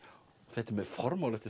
þetta er með formála eftir